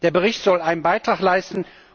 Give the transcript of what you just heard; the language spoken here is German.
aussehen kann. Der Bericht soll einen Beitrag